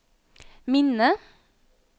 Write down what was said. minne